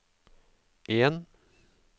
en